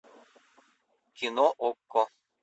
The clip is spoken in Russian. кино окко